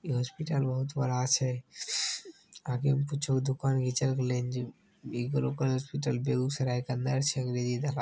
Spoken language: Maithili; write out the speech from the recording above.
इ हॉस्पिटल बहुत बड़ा छै आगे कुछो के दुकान घिचल गले हेन जे हॉस्पिटल बेगुसराय के अंदर छै --